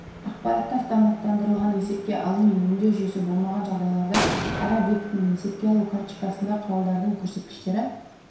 ақпаратты автоматтандырылған есепке алу мен өңдеу жүйесі болмаған жағдайларда әр объектінің есепке алу карточкасында құралдардың көрсеткіштері